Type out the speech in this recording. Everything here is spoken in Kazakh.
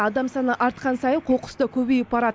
адам саны артқан сайын қоқыс та көбейіп барады